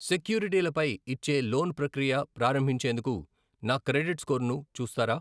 సెక్యూరిటీలపై ఇచ్చే లోన్ ప్రక్రియ ప్రారంభించేందుకు నా క్రెడిట్ స్కోరును చూస్తారా?